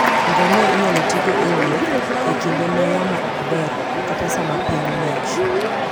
ngamia inyalo tigo ewuoth e kinde ma yamo ok ber kata sama piny ng'ich.